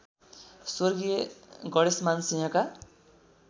स्व गणेशमान सिंहका